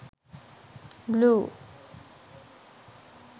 blue